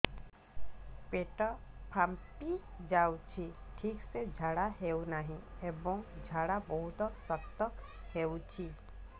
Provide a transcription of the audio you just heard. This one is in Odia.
ପେଟ ଫାମ୍ପି ଯାଉଛି ଠିକ ସେ ଝାଡା ହେଉନାହିଁ ଏବଂ ଝାଡା ବହୁତ ଶକ୍ତ ହେଉଛି